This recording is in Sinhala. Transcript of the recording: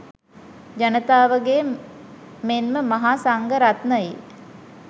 ජනතාවගේ මෙන්ම මහා සංඝරත්නයේ